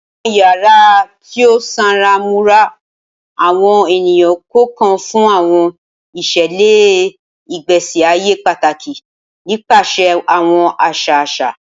Awọn yara ti o sanra mura awọn eniyan kọọkan fun awọn iṣẹlẹ igbesi aye pataki nipasẹ awọn aṣa aṣa.